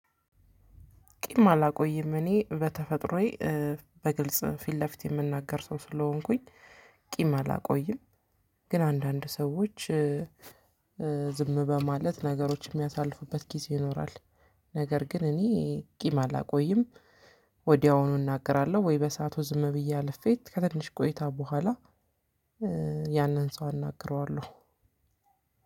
ቂም አላቆይም እኔ በተፈጥሮዬ በግልጽ ፊት ለፊት የምናገር ሰው ስለሆንኩኝ ቂም አላቆይም። ግን አንዳንድ ሰዎች ዝም በማለት ነገሮች የሚያሳልፉበት ጊዜ ይኖራል። ነገር ግን እኔ ቂም አላቆይም። ወዲያውኑ እናገራለሁ ወይ በሰአቱ ዝም ብዬ አለፌ ከትንሽ ቆይታ በኋላ ያንን ሰው አናግረዋለሁ።